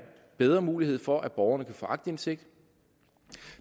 bedre mulighed for at borgerne kan få aktindsigt